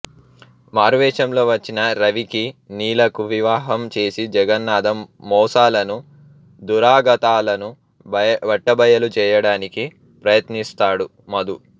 మారువేషంలో వచ్చిన రవికి నీలకు వివాహం చేసి జగన్నాథం మోసాలను దురాగతాలను బట్టబయలు చేయడానికి ప్రయత్నిస్తాడు మధు